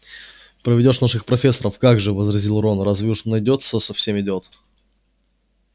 проведёшь наших профессоров как же возразил рон разве уж найдётся совсем идиот